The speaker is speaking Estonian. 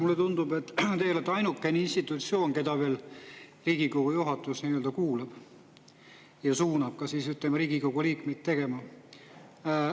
Mulle tundub, et teie olete ainuke institutsioon, keda veel Riigikogu juhatus kuulab ja suunab siis Riigikogu liikmeid midagi tegema.